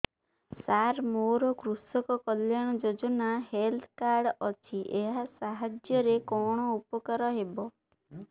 ସାର ମୋର କୃଷକ କଲ୍ୟାଣ ଯୋଜନା ହେଲ୍ଥ କାର୍ଡ ଅଛି ଏହା ସାହାଯ୍ୟ ରେ କଣ ଉପକାର ହବ